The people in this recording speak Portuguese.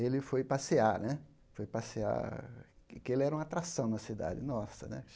Ele foi passear né, foi passear porque ele era uma atração na cidade. Nossa